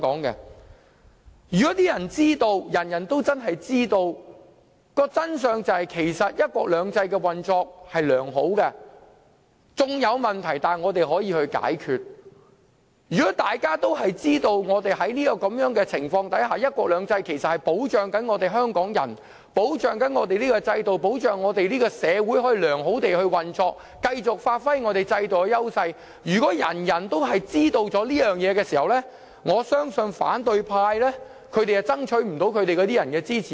如果人人都知道，真相是"一國兩制"運作良好，縱有問題但可以解決；如果人人都知道，"一國兩制"能保障香港人，確保本港制度和社會良好運作，讓我們繼續發揮本港制度的優勢；如果人人都知道這些事實，我相信反對派將無法爭取市民支持。